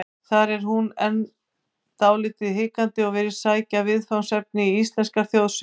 Þar er hún enn dálítið hikandi og virðist sækja viðfangsefnin í íslenskar þjóðsögur.